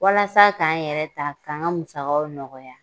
Walasa k'an yɛrɛ ta k'an ka musakaw nɔgɔya